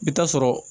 I bi taa sɔrɔ